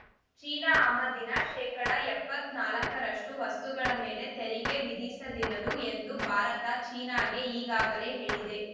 China ಆಮದಿನ ಶೇಕಡಾ ಎಪ್ಪತ್ತ್ ನಾಲ್ಕರಷ್ಟು ವಸ್ತುಗಳ ಮೇಲೆ ತೆರಿಗೆ ವಿಧಿಸದಿರಲು ಎಂದು ಭಾರತ ಚೀನಾಗೆ ಈಗಾಗಲೇ ಹೇಳಿದೆ